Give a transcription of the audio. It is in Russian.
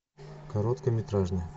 короткометражный